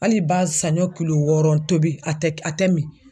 Hali ba saɲɔ kulo wɔɔrɔ tobi a tɛ a tɛ mi.